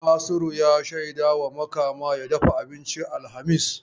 Nasiru ya shaida wa Makama ya dafa abincin alhamis.